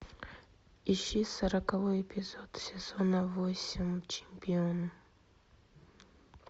ищи сороковой эпизод сезона восемь чемпион